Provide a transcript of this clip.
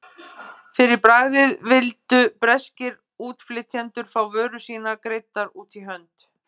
Fyrir bragðið vildu breskir útflytjendur fá vörur sínar greiddar út í hönd.